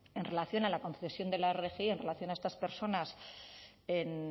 en relación a la concesión de la rgi en relación a estas personas